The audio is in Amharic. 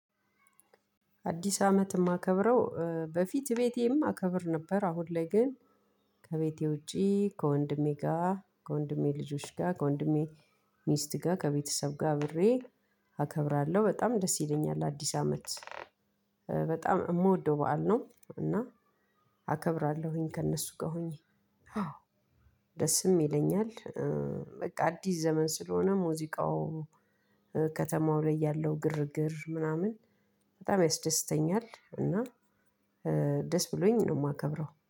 አዲስ አመት የማከብረው በፊት ቤቴም አከብር ነበር አሁን ግን ከቤቴ ውጪ ከወንድሜ ጋር ከወንድሜ ልጆች ጋር ከወንድሜ ሚስት ጋር ከቤተሰብ ጋር አብሬ አከብራለሁ በጣም ደስ ይለኛል። አዲስ አመት በጣም የምወደው በዓል ነው። እና አከብራለሁኝ ከእነሱ ጋር ሆኜ አዎ ደስም ይለኛል። በቃ አዲስ ዘመን ስለሆነ ሙዚቃው ከተማው ላይ ያለው ግርግር ምናምን በጣም ያስደስተኛል። እና ደስ ብሎኝ ነው የማከብረው